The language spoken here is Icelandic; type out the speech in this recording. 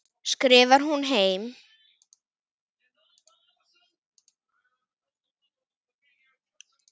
skrifar hún heim.